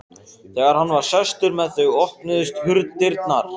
Þegar hann var sestur með þau opnuðust dyrnar.